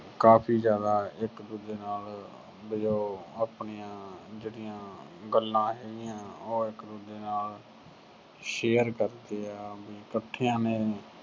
ਕਾਫੀ ਜਿਆਦਾ ਇੱਕ ਦੂਜੇ ਨਾਲ ਵੀ ਉਹ ਆਪਣੀਆਂ ਜਿਹੜੀਆਂ ਗੱਲਾਂ ਹੈਗੀਆਂ, ਉਹ ਇੱਕ ਦੂਜੇ ਨਾਲ share ਕਰਦੇ ਆਂ ਵੀ ਇੱਕਠਿਆਂ ਨੇ